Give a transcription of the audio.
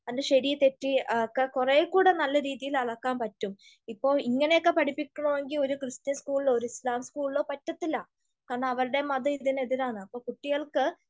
അതിൻ്റെ ശെരി തെറ്റ് ഒക്കെ കൊറേക്കൂടെ നല്ല രീതിയിൽ അളക്കാൻ പറ്റും. ഇപ്പൊ ഇങ്ങനെയൊക്കെ പഠിപ്പിക്കണോങ്കി ഒരു ക്രിസ്ത്യൻ സ്കൂളിലോ ഒരു ഇസ്ലാം സ്കൂളിലോ പറ്റത്തില്ല. കാരണം അവരുടെ മതം ഇതിനെതിരാണ്. അപ്പൊ കുട്ടികൾക്ക്